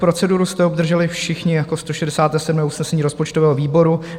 Proceduru jste obdrželi všichni jako 167. usnesení rozpočtového výboru.